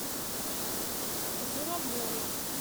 журавлевой